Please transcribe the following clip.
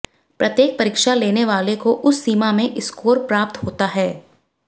प्रत्येक परीक्षा लेने वाले को उस सीमा में स्कोर प्राप्त होता है